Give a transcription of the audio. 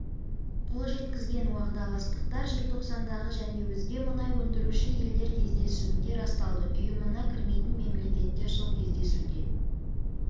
қол жеткізген уағдаластықтар желтоқсандағы және өзге мұнай өндіруші елдер кездесуінде расталды ұйымына кірмейтін мемлекеттер сол кездесуде